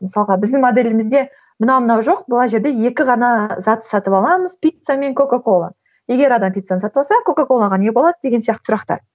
мысалға біздің моделімізде мынау мынау жоқ мына жерде екі ғана затты сатып аламыз пицца мен кока кола егер ана пиццаны сатып алса ана кока колаға не болады деген сияқты сұрақтар